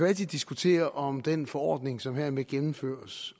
altid diskutere om den forordning som hermed gennemføres